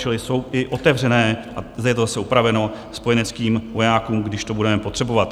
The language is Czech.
Čili jsou i otevřené, a zde je to zase upraveno, spojeneckým vojákům, když to budeme potřebovat.